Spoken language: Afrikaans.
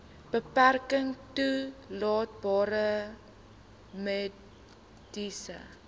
beperking toelaatbare mediese